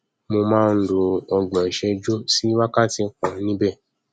mo má nlo ọgbọn ìṣẹjú sí wákàtí kan níbẹ